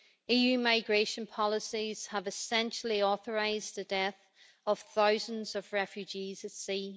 EU migration policies have essentially authorised the death of thousands of refugees at sea.